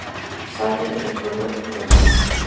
Sagði eitthvað ljótt um hann.